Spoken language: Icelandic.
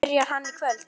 Byrjar hann í kvöld?